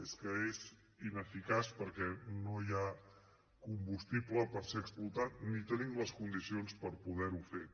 és que és ineficaç perquè no hi ha combustible per ser explotat ni tenim les condicions per poderho fer